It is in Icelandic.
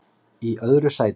Í öðru sæti